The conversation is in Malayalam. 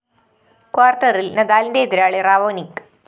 ക്വാര്‍ട്ടറില്‍ നദാലിന്റെ എതിരാളി റാവോനിക്ക്